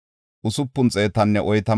Beguwaya yaray 2,056;